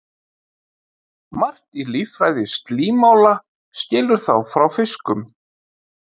Margt í líffræði slímála skilur þá frá fiskum.